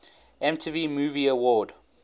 mtv movie award